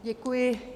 Děkuji.